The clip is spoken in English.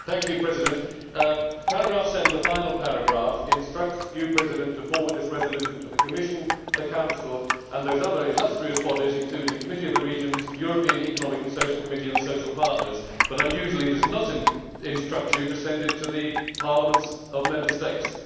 Mr President, paragraph 7 the final paragraph instructs you to forward this resolution to the Commission, the Council and those other illustrious bodies, including the Committee of the Regions and the European Economic and Social Committee, and the social partners but, unusually, does not instruct you to send it to the parliaments of Member States.